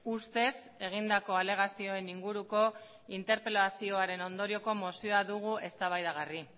ustez egindako alegazioen inguruko interpelazioaren ondorioko mozioa dugu eztabaidagai